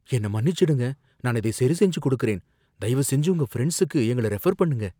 என்னை மன்னிச்சிடுங்க நான் இதை சரிசெஞ்சு குடுக்குறேன். தயவுசெஞ்சு உங்க ஃப்ரெண்ட்சுக்கு எங்கள ரெஃபர் பண்ணுங்க.